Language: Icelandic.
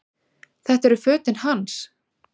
Þetta eru fötin hans!